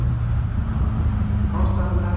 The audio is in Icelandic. Ástæðan er tæknileg bilun